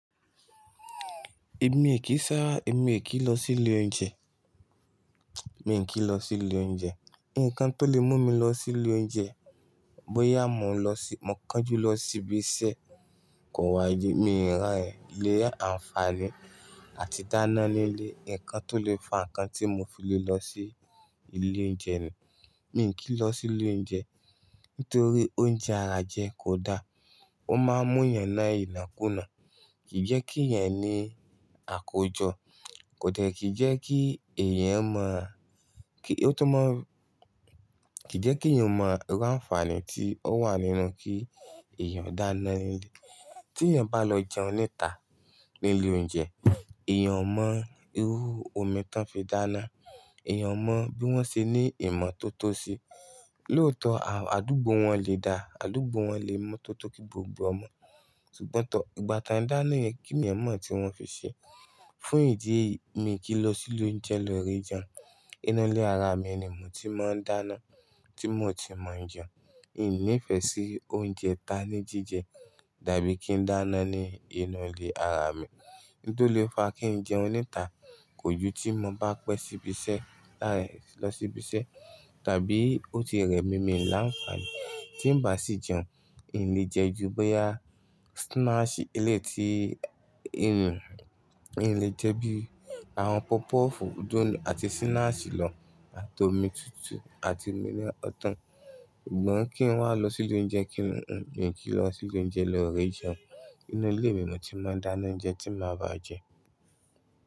Èmi è kí sá, èmi è kí lọ sí ilé oúnjẹ. Mi kí lọ sí ilé oúnjẹ. Ǹkan tó lè mú mi lọ sí ilé oúnjẹ, bóyá mò ń lọ sí-- mò ń kánjú lọ sí ibi iṣẹ́ kò wá le. Mi ràn è lè àǹfààní àti dáná ní ilé. Ǹkan tó lè fa ǹkan tí mò fi lè lọ sí ilé oúnjẹ ni. Mi ò kí lọ sí ilé oúnjẹ nítorí oúnjẹ ara jẹ kò da. Ó máa ń mú iyan na inakuna. Kì í jẹ́ kí yẹn ní àkójọ. Kò dẹ́ẹ̀kí jẹ́ kí èèyàn mọ̀, kí-- ó tó mọ̀, kì í jẹ́ kí èèyàn mọ ìru àǹfààní tí ó wà nínú kí èèyàn dáná ní ilé. Tí èèyàn bá lọ jẹun níta ní ilé oúnjẹ, èèyàn mọ irú omi tí wọ́n fi dáná. Èèyàn mọ bí wọ́n ṣe ní ìmọ̀ tó tótó síi. Lóòótọ́, àdúgbò wọn lè da, àdúgbò wọn lè mọ̀ tó tó kí gbogbo ọmọ. Ṣùgbọ́n tọ́, ìgbà tí a ń dáná yẹn, kí ni èèyàn mọ̀ tí wọ́n fi ṣe? Fún ìdí èyí, mi ò kí lọ sí ilé oúnjẹ lọ re jẹun. Inú ilé ara mi ni mò ti máa ń dáná tí mò ti mọ̀ jẹun. Mi ò ní ìfẹ́ sí oúnjẹ ta ní jíjẹ dàbí kí n dáná ní inú ilé ara mi. Nto lè fa kí n jẹun níta, kò ju tí mò bá pẹ́ síbi iṣẹ́, lárẹ̀ lọ síbi iṣẹ́, tàbí ó ti rẹ̀ mí mìí o làǹfààní. Tí n bá sì jẹun, ìn ni jẹ́ ju bóyá snacks eléti ìrìn. Ì lè jẹ́ bí àwọn puff puff, donuts àti snacks lọ àti omi tútù àti mínira ọ̀tán. Sugbon kí n wà lọ sí ilé oúnjẹ kí n jẹun? Mi ò kí lọ sí ilé oúnjẹ lọ re jẹun. Inú ilé mi ni mò ti máa ń dáná oúnjẹ tí màá bá jẹ.